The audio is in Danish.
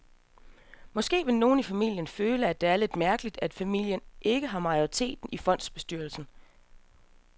Måske vil nogle i familien føle, at det er lidt mærkeligt, at familien ikke har majoriteten i fondsbestyrelsen.